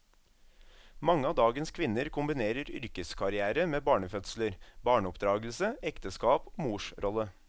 Mange av dagens kvinner kombinerer yrkeskarrière med barnefødsler, barneoppdragelse, ekteskap og morsrolle.